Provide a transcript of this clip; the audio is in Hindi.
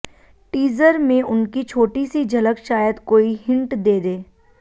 टीज़र में उनकी छोटी सी झलक शायद कोई हिंट दे दे